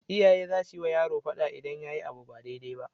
Iyaye zasuyi wa yaro fada idan yayi abu ba dai dai na